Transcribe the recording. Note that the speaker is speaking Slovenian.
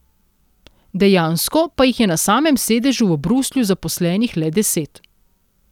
Dejansko pa jih je na samem sedežu v Bruslju zaposlenih le deset.